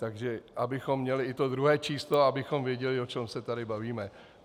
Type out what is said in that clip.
Takže abychom měli i to druhé číslo, abychom věděli, o čem se tu bavíme.